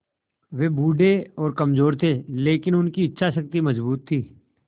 वे बूढ़े और कमज़ोर थे लेकिन उनकी इच्छा शक्ति मज़बूत थी